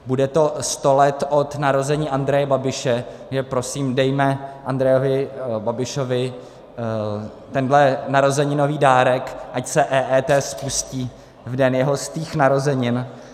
Bude to sto let od narození Andreje Babiše, takže prosím dejme Andreji Babišovi tenhle narozeninový dárek, ať se EET spustí v den jeho stých narozenin.